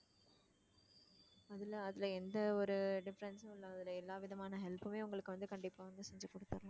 அதுல அதுல எந்த ஒரு difference உம் இல்லை அதுல எல்லாவிதமான help உமே உங்களுக்கு வந்து கண்டிப்பா வந்து செஞ்சு கொடுத்திடறேன்